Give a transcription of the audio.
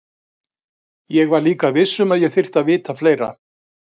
Ég var líka viss um að ég þyrfti að vita fleira.